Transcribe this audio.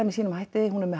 með sínum hætti hún